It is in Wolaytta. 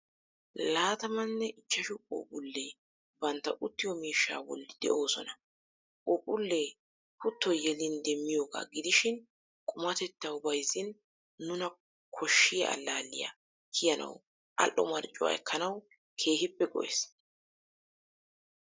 Laatamanne ichchaashu puphphuule bantta uttiyo miishsha boolli de"osona. puuphphule kuuttoyi yelin deemiyooga gidiishin qumatettawu, baayizin nuuna kooshshiya allaalliya kiiyanawu al"oo marccuwa ekaanawu keehippe go"ees.